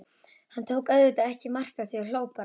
Hann tók auðvitað ekki mark á því, hló bara.